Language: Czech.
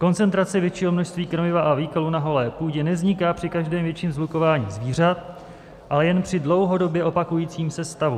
Koncentrace většího množství krmiva a výkalů na holé půdě nevzniká při každém větším shlukování zvířat, ale jen při dlouhodobě opakujícím se stavu.